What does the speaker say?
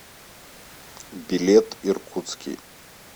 билет иркутский